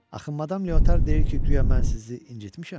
Axı madam Leotar deyir ki, guya mən sizi incitmişəm?